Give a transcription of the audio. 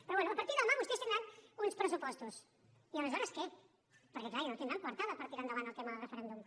però bé a partir de demà vostès tindran uns pressupostos i aleshores què perquè clar ja no tindran coartada per tirar endavant el tema del referèndum